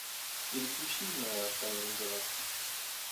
переключи на тайны галактики